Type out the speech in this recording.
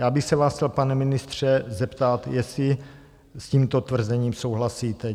Já bych se vás chtěl, pane ministře, zeptat, jestli s tímto tvrzením souhlasíte.